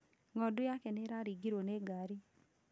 Ng'ondu yake nĩ ĩraringirwo nĩ ngari